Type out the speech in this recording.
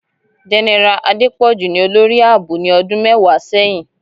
Génẹ́rà Adepọju ní olórí ààbò nì ọdún mẹwàá sẹyìn.